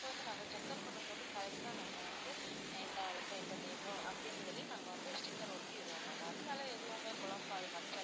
இப்ப வந்து நாங்க check up பண்ணும் போது correct ஆ நாங்க வந்து இந்த ஆளுக்கு இந்த name உ அப்படின்னு சொல்லி நாங்க வந்து sticker ஒட்டிடுவோம் ma'am அதனால எதுவுமே குழம்பாது ma'am